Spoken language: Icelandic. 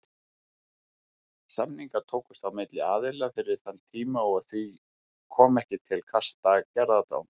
Samningar tókust á milli aðila fyrir þann tíma og því kom ekki til kasta gerðardóms.